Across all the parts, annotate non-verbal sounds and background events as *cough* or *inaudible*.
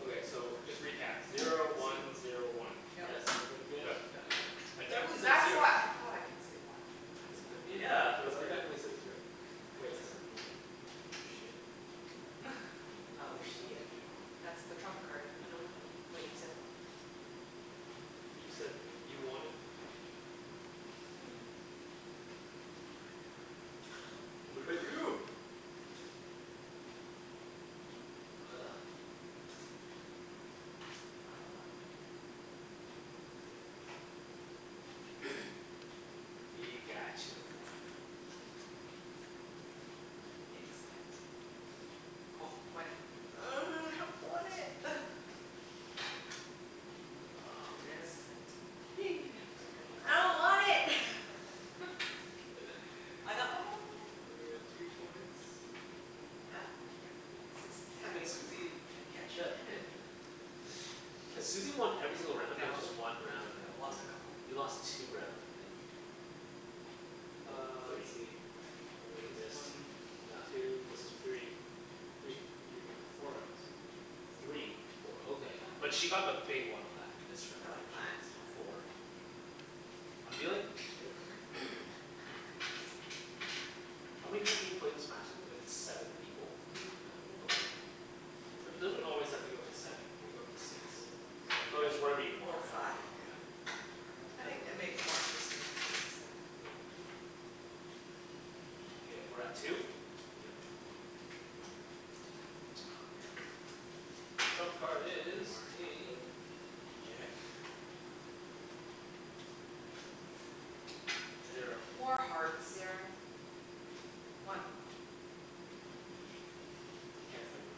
Okay so just recap, zero one zero one. Yes? Everybody good? Right, yeah. Okay. I Ooh, definitely said that's zer- why I thought I could say one, that's Really? why. But me and Yeah. Wenny Cuz both I heard definitely said zero. Wait I said one? Oh shit. *laughs* I Oh shiet. dunno what That's to do. the trump card. I know I know. Wait you said one You said you wanted, okay, fuck. What do I do. What do I do, what do I do. What do I do. Ugh You don't want to win eh? You got your one. Excellent. Wenny. Ugh, I don't want it! Aw man! Excellent I don't want it! I got my one. Wenny got two points. Uh yeah. Six, Damn seventy it, one, yeah. Susie, can't catch up. Damn it Has Susie won every single round or No just one round you have I've won. lost a couple You lost two rounds, I think. No, Uh, let's three. see. This one, two, three. Three, three rounds. Four rounds. Three, four, oh okay yeah. But she got the big one on that missed round though. Five She got points, yeah. four. I'm dealing? Yep Mhm How many people can you play this match with if it's seven people? Mhm. Yeah, okay. But it doesn't always have to go to seven. It could go up to six. Oh it's whatever you want, Or Whatever you five right? want yeah. I think that makes it more interesting Yeah Okay, we're at two? Yep. Aw man, Trump can't card catch up is anymore a jack. Zero More hearts Zero One You can't say one.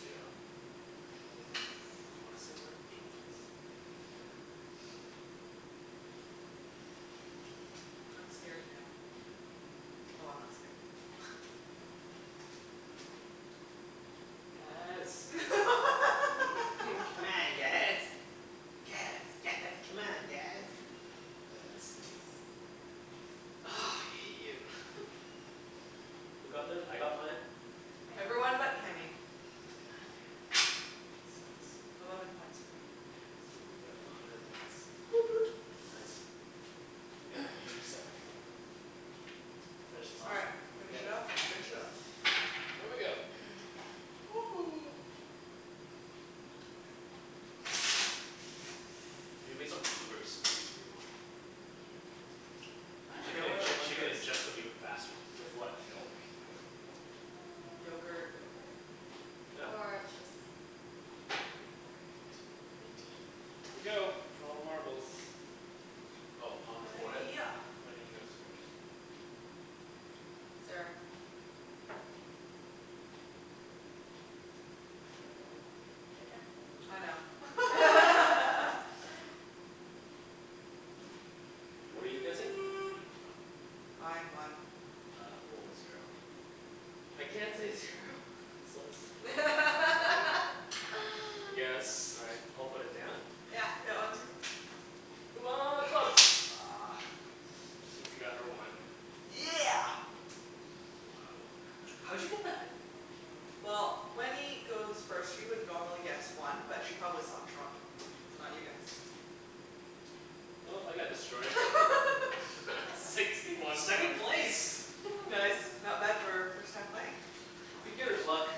Zero Didn't wanna say one anyways. I'm scared now. Oh I'm not scared. Guys *laughs* C'mon guys, guys, guys, c'mon, guys! Uh Susie Ugh, I hate you Who got theirs? I got mine. I got Everyone mine. but Kenny. God damn. Sucks Eleven points for me Yeah Susie's at a hundred points. Woot woot Oh nice. Yeah, you do suck at the game. Finish this All off? right, finish Yep it off and finish it off. Here we go *noise* *noise* You can make some blueberry smoothies for your mom. She can inge- she can ingest them even faster. With what, milk? You put, with milk? Yogurt Yogurt Yogurt? Yeah. Or just coconut water, tea, green tea. Here we go, for all the marbles Oh, on the forehead? Yeah Wenny goes first. Zero. Your turn I know. *laughs* *laughs* What are you guessing? Fine, one Uh I'm going with zero. I can't say zero? You assholes One. One? *laughs* I guess. All right, I'll put it down. Yeah Yeah, one two three C'mon, clubs! Ugh, Susie got her one. Yeah! Wow How'd you get that? Well, Wenny goes first. She would normally guess one but she probably saw trump so not you guys. Well, I got destroyed. *laughs* Sixty one Second one place! Nice, not bad for first time playing Beginner's luck.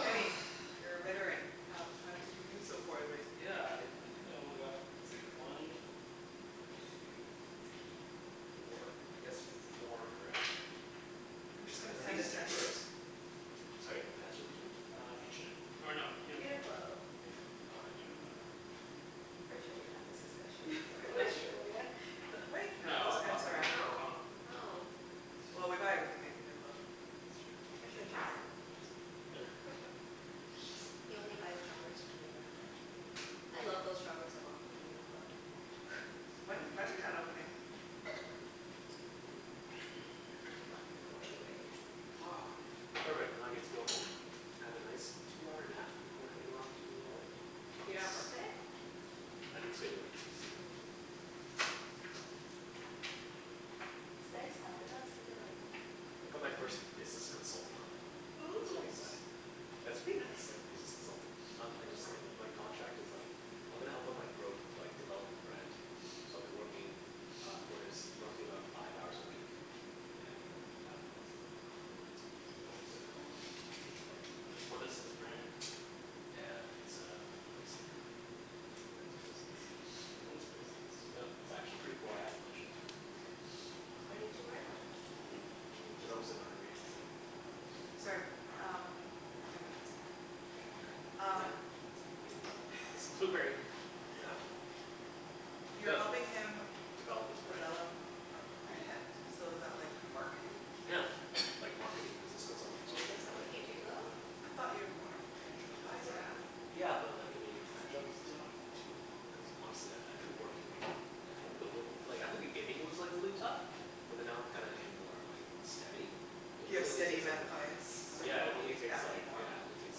Kenny, you're a veteran, how how did you do so poorly? Yeah, I I think I only got, let's see, one two three four, I guessed four correct. I'm just gonna Are send these? a text. *inaudible* Sorry? What pants are these from? Uh H&M, or no, UNIQLO UNIQLO UNIQLO. Oh, how'd you know? Pretty sure we had this discussion before in Really? Australia. Wait No, I bought them in Hong Kong. Oh? Oh. Yeah Well, we buy everything at UNIQLO. That's true. Pretty sure Jason has'em or something Really? He only buys joggers from UNIQLO. I love those joggers I bought from UNIQLO. When is Metrotown opening? Not gonna go anyways. *noise* Perfect, now I get to go home, have a nice two-hour nap before heading off to volleyball. You don't have work Nice today? I didn't schedule anything in today. Mm It's nice out. Maybe I'll sit in my yard. I got my first business consultant client. That's Ooh. pretty exciting. Nice That's pretty nice like business consulting. Um I What does just like, that mean? my contract is like, I'm gonna help him like, grow, like develop his brand, so I'll be working uh for his, roughly about five hours a week and thousand bucks a month. Yeah. Nice. What is his brand? Uh it's a, like a bracelet company, like men's bracelets. Men's bracelets Yeah. It's actually pretty cool. I have a bunch of'em so. Why didn't you wear them? Hmm? Why didn't you Cuz I was in wear a hurry today. them? Sorry, um ten minutes more. Okay Yep, Um let's keep eating this blueberry, yeah. You're helping him Develop his brand Develop a brand? So is that like marketing? Yeah, like marketing business consultant sort of thing? Is that what you do I though? thought you are more like financial advisor. Yeah. Yeah, but like, I mean that job doesn't take me too long cuz honestly I I I've been working, I've only been working like at the beginning it was like really tough, but then now I'm kinda in more like steady It You have really only steady takes up amount of like, clients? So you yeah it don't only need that takes many like, more? yeah it only takes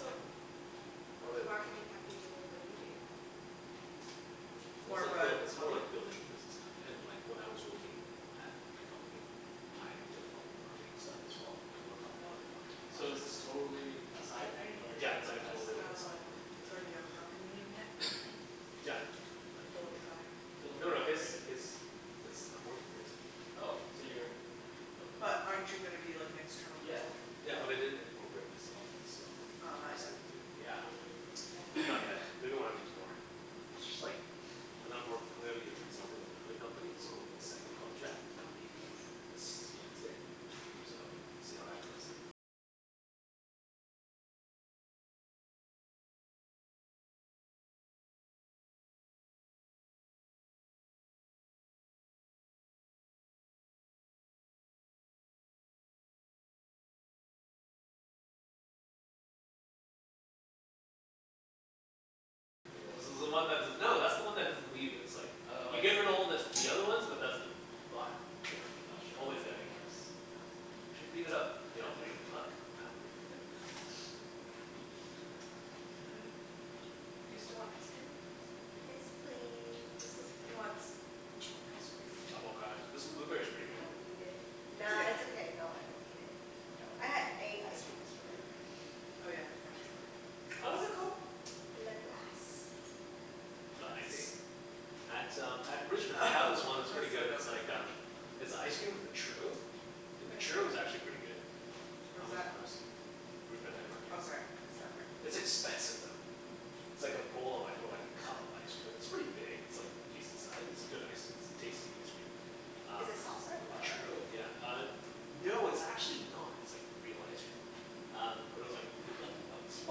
like But what probably does marketing have to do with what you do? Well, it's like buil- it's more like building a business kinda and like when I was working at my company, I did a lot of marketing stuff as well, I worked on a lot of the marketing So is projects. this totally a side thing or is it Yeah, it's an like a FS totally, thing? like a side thing, Oh. yeah. So you have a company name yet? Yeah, like he already has it. Philip No no, his, Incorporated. his, it's, I'm working for his company. Oh, so you're like But aren't you gonna be like an external Yeah consultant? Yeah, but I didn't incorporate myself, so Oh I'm not just yet gonna do, yeah. Not yet. Maybe when I make more. But it's just like and I'm work, I'm gonna be a consultant with another company so hopefully second contract, and I'm meeting them this Wednesday so, see how that goes. This is the one that's the, no, that's the one that doesn't leave you it's like Oh You I see. giver her to all the the other ones but that's the bottom, yeah, I'm not sure how always there. pimping works. Oh, you should read it up. You know, read a book, god. You still want ice cream? Yes, please *laughs* Who wants ice cream? I'm I don't, okay. This blueberry's pretty I good. don't need it. Nah, it's It's okay. okay. No, I don't need it. No, I had, ate ice cream yesterday. Oh yeah the French one. What was it called? Le Glace The I ice see. At um at Richmond they have this one that's pretty good. It's like um, it's an icecream with a churro, and the churro was actually pretty good. I Where's was that? impressed. Richmond night market. Oh sorry, I missed that part. It's expensive though. It's like a bowl of like, or like a cup of ice cream, it's pretty big. It's like decent size. It's good ice, it's tasty ice cream, um Is it soft-serve with the or? churro, yeah, uh no, it's actually not. It's like real ice cream. Um, but it was like eleven bucks for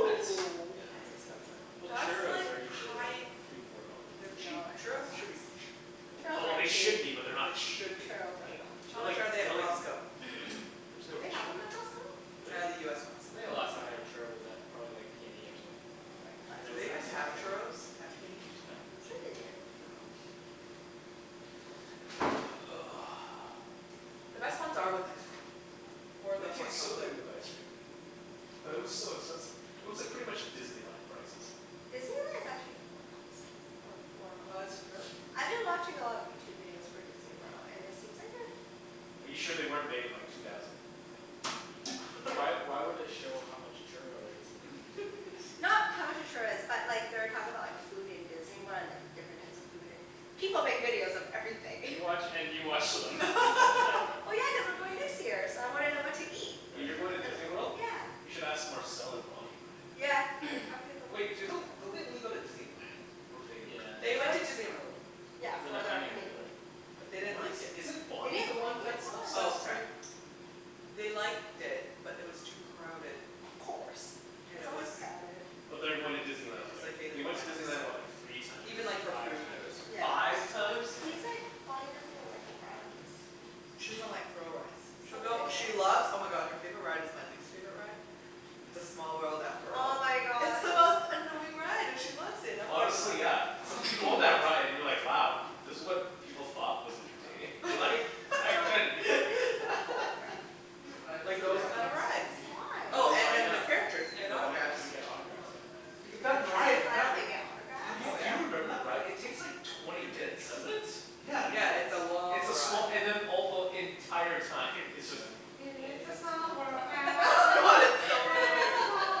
What?! it. Yeah That's expensive. Well, That's churros like are usually like high- three four dollars, They're aren't they? cheap. No they're not Churros should be cheap. that Oh well, they Really? should be but they're not They cheap. should be. Churros are not How cheap. They're like, much are they at they're like Costco? There's no Do they have'em churros at at, Costco? do Uh the US ones. they? I think the last time I had a churro was at probably like PNE or something. Do Those they were even have expensive. churros at PNE? I'm sure they do. I'm sure they do. The best ones are with ice cream or the It hot tastes so chocolate. good with ice cream. But it was so expensive. It was like pretty much Disneyland prices. Disneyland is actually not that expensive or What? Really? I've been watching a lot of Youtube videos for Disney World and it seems like a Are you sure they weren't made in like two thousand and like three? Why why would it show how much a churro is in Youtube videos? Not how much a churro is but like they were talking about like food in Disney World and like different types of food and, people make videos of everything You watch and you watch them. *laughs* *laughs* Well, yeah, cuz I'm going next year so I Oh wanna know what to okay, eat fair Wait, enough you're going to Disney World? You Yeah should ask Marcel and Bonny about it. Yeah, I've talked to them Wait, do lots of the- don't they only go to Disneyland? Or do they Yeah, They They Disney went to went Land. Disney to, World. yeah For their For their honeymoon. honeymoon. But they didn't What is, like it is it They Bonny the didn't like one it, that's why? Oh obsessed sorry. with They liked it but it was too crowded Of course, it's always crowded But they are going to Disney They Land just like, like hated they the went to line up Disney so. Land, what, like, three times? Even like for Five food there was *inaudible* times huge line Five ups. times? Yeah. He's like, Bonny doesn't even like the rides. She doesn't like thrill rides. So She'll what go, did they go she for? loves, oh my god, her favorite ride is my least favorite ride, "It's a small world after Oh all." my It's god. the most annoying ride and she loves it. I'm like Honestly yeah, it's *inaudible* like you go on that ride and you're like wow, this was what people thought was entertaining? Like, *laughs* back So then? what did they *laughs* go for? Like those kinda rides. Why? And Oh they'll and line then the up *inaudible* and characters, you yeah, get and they'll line autographs. up and get autographs, yeah. That's it? Line up and get autographs? Oh Do yeah. you remember that ride? It takes like twenty minutes. Does it? Yeah, Twenty Yeah, minutes? it's a it's long a small, ride. and then all the, the entire time it's just, "It's a small world Oh after god, all, it's so it's a annoying. small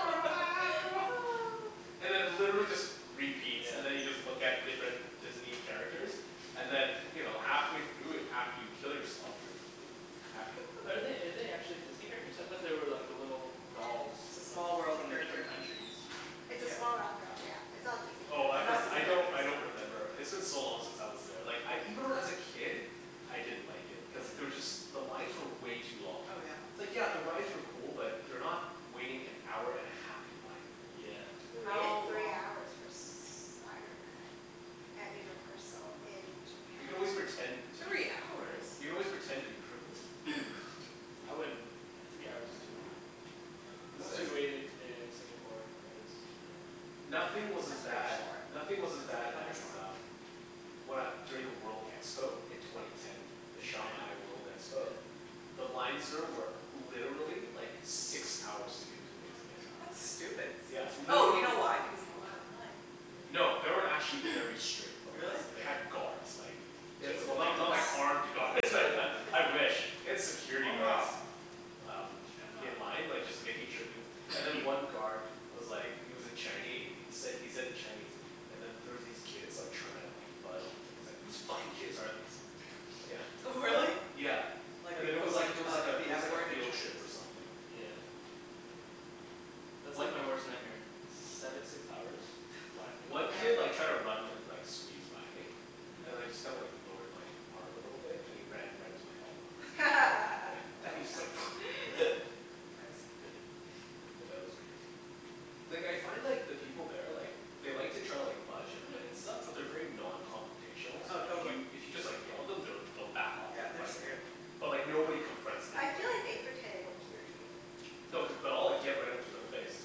world after all." And it literally just repeats. Yeah And then you just look at different Disney characters and then you know, halfway through and after you kill yourself you're, you know, happy. Are they, are they actually Disney characters? I thought they were like the little dolls. It's a Of, small world from the character. different countries It's a small world after all yeah, it's not Disney Oh I characters. for- I don't, I don't Yeah remember. It's been yeah yeah so long since I was there, like I even when I was a kid, I didn't like it. Cuz Yeah there was just, the lines were way too long. Oh yeah It's like yeah the rides were cool but they're not waiting-an-hour-and-a-half-in-line cool. Yeah We waited How three long hours for Spiderman Oh at my god Universal in You can always japan. pretend to be Three That's hours?! You can brutal. always pretend to be crippled. I wouldn't, yeah, three hours is too long. Yeah. Most we waited in Singapore was an hour. Nothing was as bad, nothing was as bad as um, when I, during the world expo in twenty ten. The In China? Shanghai World expo. Yeah The lines there were literally like six hours to get into an exhibit. That's God. stupid Yeah, Oh you know literally. why, because people cut in line. No, they were actually very strict with the lines Really? there. They had guards like They had, With Jason well went not to not guns? like that. armed guards but What? With *laughs* his I wish. family They had security guards um in line like just making sure people, and then one guard was like he was in Chine- he said he said in Chinese and then there was these kids like trying to like bud- and he's like "Who's fucking kids are these," yeah. Really? Yeah, Like the and then it was like equivalent it was like of a the it was F like a word in field trip or Chinese something. Yeah That's like my worst nightmare, seve- six hours, li- in a One line up kid like tried to run and and like squeeze by me, and I just kinda like lowered my arm a little bit and he ran right into my elbow. *laughs* And he just like Dumbass Nice *noise* Yeah, that was great. Like I find like the people there like they like to try to like budge in line and stuff but they're very non-confrontational so Oh like if totally. you, if you just like yell at them they'll back off like Yeah. They're right away. scared. But like nobody confronts I feel anybody, like they right? pretend they don't hear you. No, cuz, but I'll like get right into their face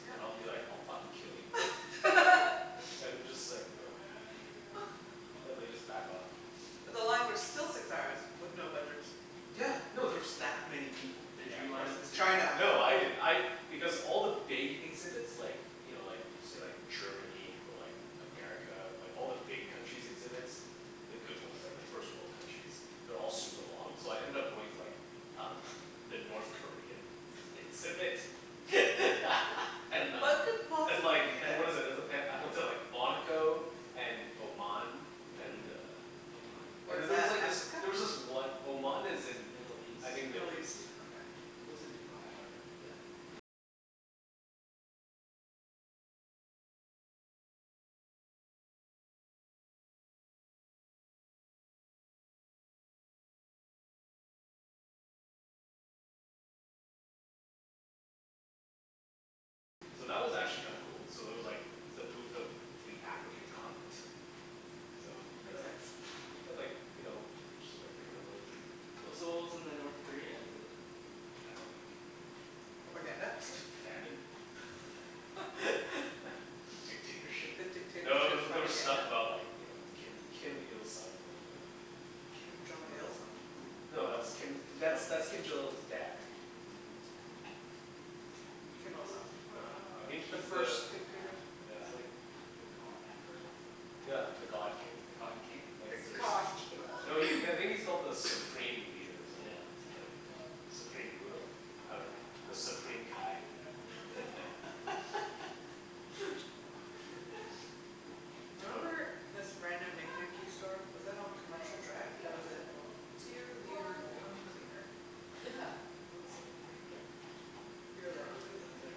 Yeah and I'll be like, "I'll fucking kill you." *laughs* And they just like ugh, and they just like back off. But the lines are still six hours with no budgers. Yeah, no, there's that many people. Did Yeah you of course line up for it's the crowd or China. something? No, I didn't, I, because all the big exhibits like you know, like say, like Germany or like America or like all the big countries' exhibits, the good ones, like the first world countries, they're all like super long so I ended up going to like um the North Korean exhibit *laughs* and uh What could And possibly like, be and there? what is it, is it, they- I went to like Monaco and Oman. And Mm. uh Oman. Where's There's that, like this, Africa? there was this one, Oman is in Middle East I think Middle Middle East, East? yeah. Okay. So that was actually kinda cool. So there was like the booth of the African continent. So, Makes *noise* sense. They had like, you know, pictures of like gorillas and W- so what was in the North Korea exhibit? I dunno, like Propaganda? Famine? *laughs* Dictatorship? The No, there dictatorship were there were stuff propaganda? about like you know, Kim Kim Il Sung or whatever. Kim Jong Kim Il Il? Sung? No, that's Kim, that's that's Kim Jong Il's dad. Kim Il Sung. Kim Il Sung. Yeah, No. I think The he's the first dictator? Yeah. He's like the god emperor? No, not the god Yeah, the emperor. god king. The god king? The god king? No, he, I think he's called the supreme leader or something Yeah. like that. Something like that. Supreme ruler? I dunno. The Supreme Kai. *laughs* I remember this random knickknacky store, was that on Commercial Drive? There was a "Dear Leader Tongue Cleaner". Yeah, that was on Commercial Drive. You were there. Yeah, I was there.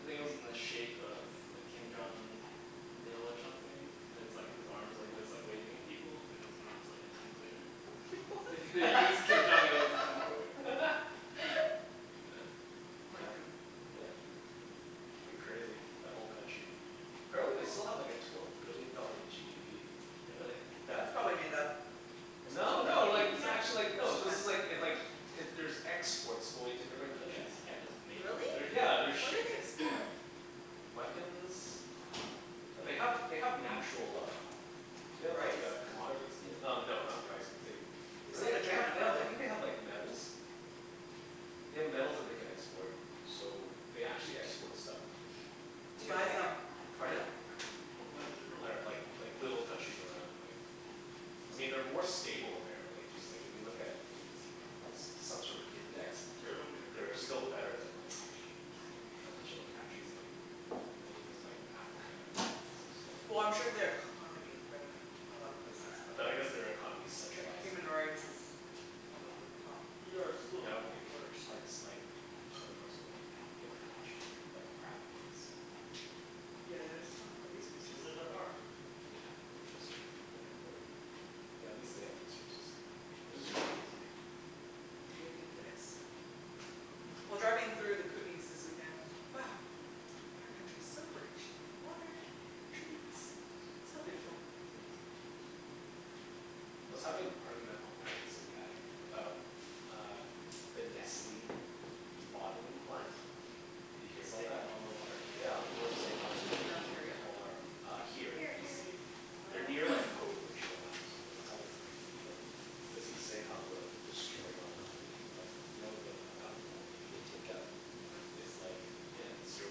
I think it was in the shape of like Kim Jong Il or something, and it's like his arms are like this, like waving at people and his arm's like a tongue cleaner. You *laughs* use Kim Jong what? Il as a tongue cleaner. *laughs* Amazing. Yeah It's pretty crazy, that whole country. Apparently they still have like a twelve billion dollar GDP. Really? Yeah. That's probably made up. No, No, no, like, you this is can't, actually like, no this is like, it like, it, there's exports going to different yeah, countries. you can't just make up a Really? They're, GDP. yeah, they're What do ship- they yeah export? Weapons, like they have, they have natural uh They have like Rice? uh commodities y- um no not rice but they, They I sell to think they, they China have, they have, I probably. think they have like metals. They have metals that they can export so they actually export stuff. Who To buys where? them? Pardon? I dunno, like like little countries around like, I mean they're more stable apparently, just like if you look at what is it, it's like they, some sort of index, they're still better than like a bunch of other countries in like Middle east? Like Africa, or some, stuff like Well I'm sure they are economy is better than a lot of places but But I guess their economy is Their centralized and human like, you rights know is one of the top I mean I don't think worst. parts, like other parts of the world can get that much better, like the crappy parts. Yeah, they just don't have the resources. Like, yeah like western Africa or whatever. Yeah, at least they have resources. It's just crazy to me. Dear leader Yes. Well, driving through the Kootenays this weekend, it's like, wow, our country's so rich in water, trees, so Yeah. beautiful. Mhm. I was having an argument online with some guy about uh the Nestle bottling plant. You hear It's about that? taking all their water? Yeah, how people are saying they're In taking Ontario? all our uh Here, in Here too. BC. They're Oh near like Hope or Chilliwack or something. I was having an argument with him. Cuz he was saying how they're like destroying our economy, I'm like, "You know the amount of water they take out" Mhm "Is like" Yeah "Zero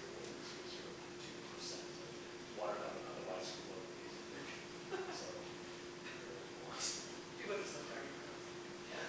point zero zero two percent of" Yeah "Water that would otherwise flow into the ocean." *laughs* "So, I dunno what you want." People just like to argue for no reason. Yeah.